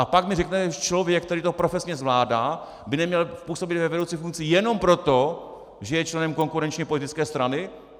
A pak mi řeknete, že člověk, který to profesně zvládá, by neměl působit ve vedoucí funkci jenom proto, že je členem konkurenční politické strany?